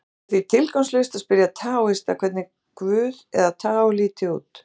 Það er því tilgangslaust að spyrja taóista hvernig guð, eða taó, líti út.